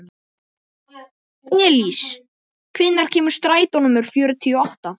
Elís, hvenær kemur strætó númer fjörutíu og átta?